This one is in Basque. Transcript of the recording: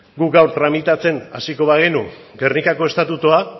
gu gaur tramitatzen hasiko bagenu gernikako estatutua